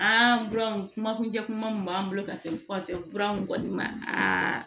An buran kuma kuncɛ kuma min b'an bolo ka se kura mun kɔni ma